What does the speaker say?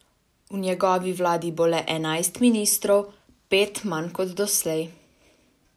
V njegovi vladi bo le enajst ministrov, pet manj kot doslej.